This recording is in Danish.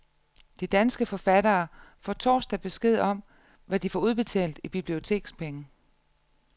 De danske forfattere får torsdag besked om, hvad de får udbetalt i bibliotekspenge.